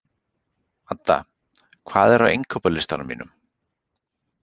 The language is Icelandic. Adda, hvað er á innkaupalistanum mínum?